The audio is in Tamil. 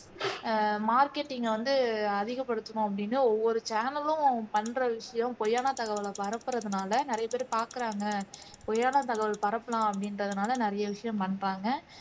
ஆஹ் marketing வந்து அதிகப்படுத்தணும் அப்படின்னு ஒவ்வொரு channel லும் பண்ற விஷயம் பொய்யான தகவலை பரப்புரதனால நிறையபேர் பாக்குறாங்க பொய்யான தகவல் பரப்பலாம் அப்படின்றதுனால நிறைய விஷயம் பண்றாங்க